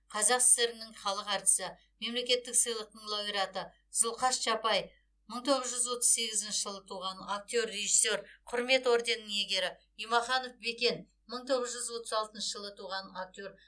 қазақ сср інің халық әртісі мемлекеттік сыйлықтың лауреаты зұлхаш чапай мың тоғыз жүз отыз сегізінші жылы туған актер режиссер құрмет орденінің иегері имаханов бекен мың тоғыз жүз отыз алтыншы жылы туған актер